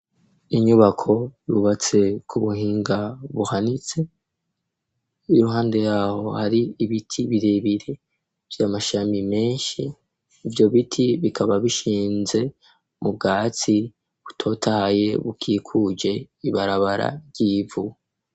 Inyubako yubatse ku buhinga buhanitse, iruhande yaho hari ibiti birebire ,vy'amashami menshi, ivyo biti bikaba bishinze mu bwatsi butotaye bukikuje ibarabara ry'ivu.